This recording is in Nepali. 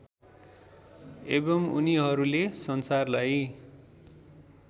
एवम् उनीहरूले संसारलाई